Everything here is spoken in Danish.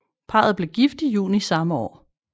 Parret blev gift i juni samme år